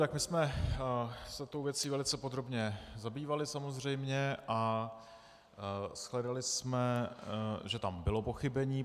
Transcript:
Tak my jsme se tou věcí velice podrobně zabývali samozřejmě a shledali jsme, že tam bylo pochybení.